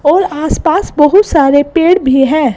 और आसपास बहुत सारे पेड़ भी है।